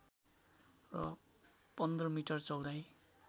र १५ मिटर चौडाइ